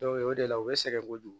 o de la u bɛ sɛgɛn kojugu